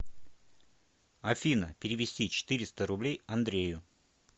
афина перевести четыреста рублей андрею